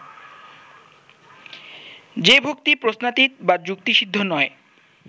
যে-ভক্তি প্রশ্নাতীত বা যুক্তিসিদ্ধ নয়